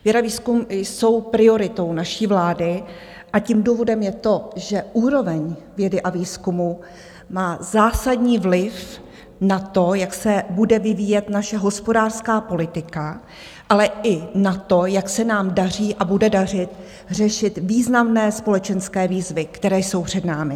Věda, výzkum jsou prioritou naší vlády a tím důvodem je to, že úroveň vědy a výzkumu má zásadní vliv na to, jak se bude vyvíjet naše hospodářská politika, ale i na to, jak se nám daří a bude dařit řešit významné společenské výzvy, které jsou před námi.